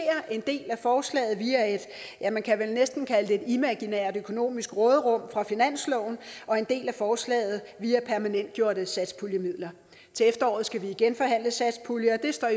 en del af forslaget via et ja man kan vel næsten kalde det imaginært økonomisk råderum fra finansloven og en del af forslaget via permanentgjorte satspuljemidler til efteråret skal vi igen forhandle satspuljer og det står i